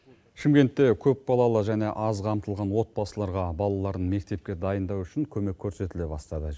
шымкентте көпбалалы және аз қамтылған отбасыларға балаларын мектепке дайындау үшін көмек көрсетіле бастады